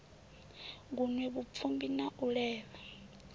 gunwe vhupfimbi na u levha